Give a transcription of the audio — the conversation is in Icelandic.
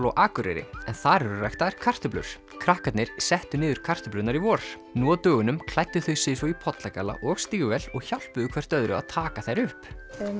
á Akureyri en þar eru ræktaðar kartöflur krakkarnir settu niður kartöflurnar í vor nú á dögunum klæddu þau sig svo í pollagalla og stígvél og hjálpuðu hvert öðru að taka þær upp